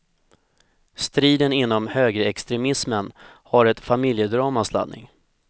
Striden inom högerextremismen har ett familjedramas laddning.